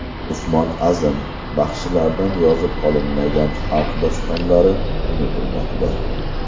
Usmon Azim: Baxshilardan yozib olinmagan xalq dostonlari unutilmoqda.